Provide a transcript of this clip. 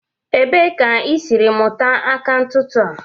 Ebee ka isiri mụta aka ntụtụ a?